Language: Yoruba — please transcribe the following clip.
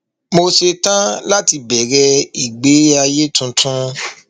mo ṣetán láti bẹrẹ ìgbé ayé tuntun